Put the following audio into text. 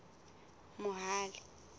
mohale